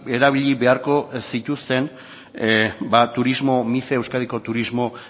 erabili beharko lituzkete turismo mice euskadiko turismo